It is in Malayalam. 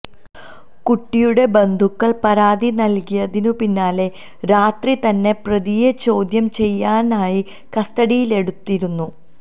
കുട്ടിയുടെ ബന്ധുക്കള് പരാതി നല്കിയതിനു പിന്നാലെ രാത്രി തന്നെ പ്രതിയെ ചോദ്യം ചെയ്യാനായി കസ്റ്റഡിയിലെടുത്തിരുന്നു